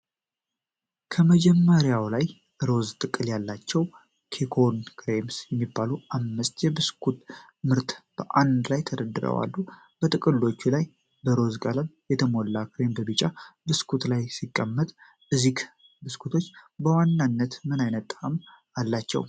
ከመደርደሪያ ላይ፣ ሮዝ ጥቅል ያላቸው "ኤኮን ክሬምስ" የሚባሉ አምስት የብስኩት ምርቶች በአንድ ላይ ተደርድረው አሉ። በጥቅሎቹ ላይ በሮዝ ቀለም የተሞላ ክሬም በቢጫ ብስኩት ላይ ሲቀመጥ ፤ እነዚህ ብስኩቶች በዋናነት ምን ዓይነት ጣዕም አላቸው?